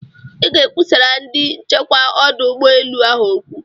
I ga-ekwusara ndị nchekwa ọdụ ụgbọ elu ahụ okwu.